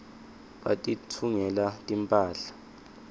batitfungela timphahla